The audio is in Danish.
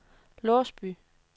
Låsby